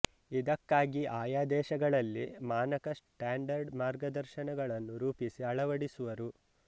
ಇದಕ್ಕಾಗಿ ಆಯಾ ದೇಶಗಳಲ್ಲಿ ಮಾನಕ ಸ್ಟಾಂಡರ್ಡ್ ಮಾರ್ಗದರ್ಶನಗಳನ್ನು ರೂಪಿಸಿ ಅಳವಡಿಸುವರು